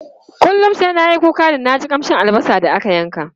Kullum sai na yi kuka da a ji kamshin albasa da aka yanka.